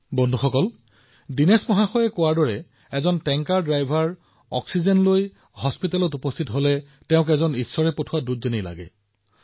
বন্ধুসকল দিনেশজীয়ে কোৱাৰ দৰে যেতিয়া তেওঁ টেংকাৰ চলাই অক্সিজেন লৈ চিকিৎসালয়ত উপস্থিত হয় এয়া ঈশ্বৰে প্ৰেৰণ কৰা বাৰ্তাবাহক যেন লাগে